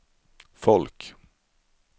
folk